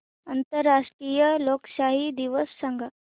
आंतरराष्ट्रीय लोकशाही दिवस सांगा